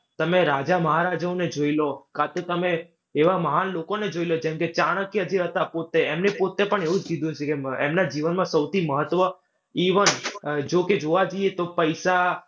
તમે રાજા મહારાજાઓને જોઈ લો, કા તો તમે એવા મહાન લોકોને જોઈ લો જેમકે ચાણક્ય જે હતા પોતે, એમને પોતે પણ એવું જ કીધું છે કે એમના જીવનમાં સૌથી મહત્વ even જો કે જોવા જઈએ તો પૈસા